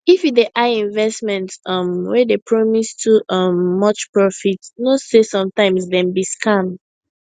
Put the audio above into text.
if you dey eye investment um wey dey promise too um much profit know say sometimes dem be scam